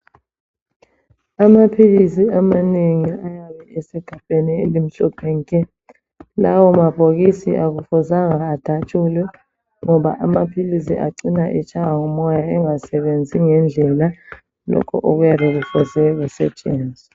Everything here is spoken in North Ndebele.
Amaphilisi amanengi asegabheni elimhlophe nke. Lawo mabhokisi akufuzanga adatshulwe ngoba amaphilisi acina etshaywa ngumoya engasebenzi ngendlela lokhu okuyabe kufuze kusetshenzwe.